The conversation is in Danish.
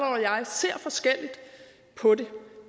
og jeg ser forskelligt på det